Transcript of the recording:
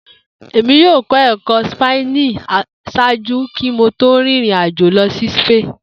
Emi yoo kọ ẹkọ Spani ṣaaju ki Mo to rin irin ajo lọ si Spain.